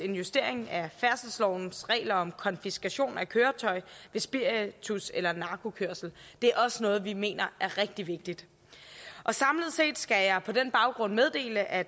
en justering af færdselslovens regler om konfiskation af køretøj ved spiritus eller narkokørsel det er også noget vi mener er rigtig vigtigt samlet set skal jeg på den baggrund meddele at